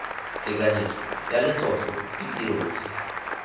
tekanyetso ya letlotlo ditiro tse